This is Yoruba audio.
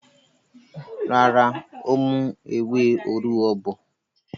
Rárá, ó mú ewé òrúwọ bọ̀.